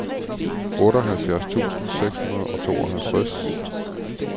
otteoghalvfjerds tusind seks hundrede og tooghalvtreds